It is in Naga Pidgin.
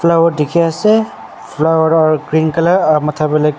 flower dekhi ase flower aru green colour